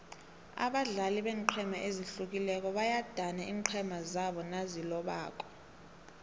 abadlali beenqhema ezihlukileko bayadana iinqhema zabo nazilobako